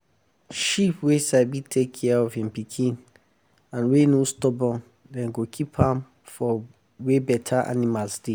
every evening i dey waka round the pen to check if anything no dey as e suppose dey or dey bad.